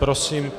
Prosím.